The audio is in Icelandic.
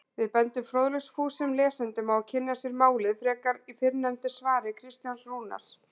Við bendum fróðleiksfúsum lesendum á að kynna sér málið frekar í fyrrnefndu svari Kristjáns Rúnars.